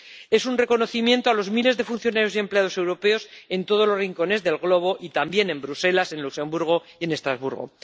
Es un reconocimiento a los miles de funcionarios y empleados europeos en todos los rincones del globo y también en Bruselas, en Luxemburgo y en Estrasburgo.